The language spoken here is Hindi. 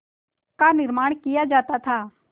का निर्माण किया जाता था